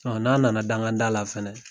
Ɔ n'a nana danga da la fɛnɛ